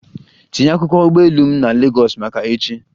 Tinye akwụkwọ ụgbọ elu m na Legọs maka echi!